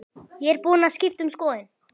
Ég er búin að skipta um skoðun.